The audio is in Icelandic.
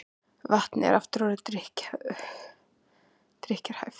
Vatnið aftur orðið drykkjarhæft